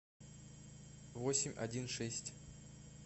восемь один шесть